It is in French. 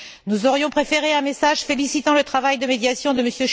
Nous aurions préféré un message félicitant le travail de médiation de M.